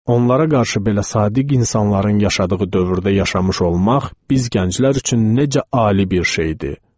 Onlara qarşı belə sadiq insanların yaşadığı dövrdə yaşamış olmaq biz gənclər üçün necə ali bir şeydir.